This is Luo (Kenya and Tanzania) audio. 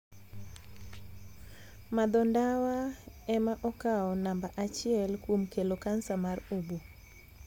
Madho ndawa ema okawo namba achiel kuom kelo kansa mar oboo.